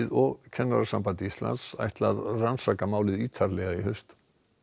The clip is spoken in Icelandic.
og Kennarasamband Íslands ætla að rannsaka málið ítarlega í haust